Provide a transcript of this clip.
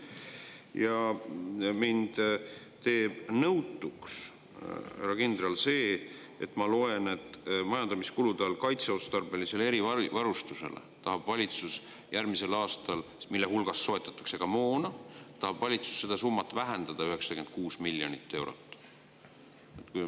Aga mind teeb nõutuks, härra kindral, see, et nagu ma siit loen, tahab valitsus järgmisel aastal majandamiskuludest kaitseotstarbelisele erivarustusele minevat summat, mille eest soetatakse ka moona, vähendada 96 miljonit eurot.